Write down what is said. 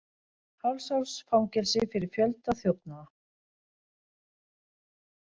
Hálfs árs fangelsi fyrir fjölda þjófnaða